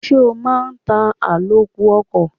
Ṣé o máa ń ta àlòkù ọkọ̀?